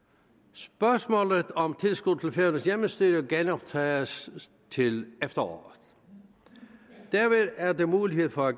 spørgsmålet om tilskuddet til færøernes hjemmestyre genoptages til efteråret dermed er der mulighed for at